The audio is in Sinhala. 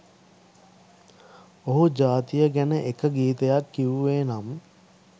ඔහු ජාතිය ගැන එක ගීතයක් කිවුවේ නම්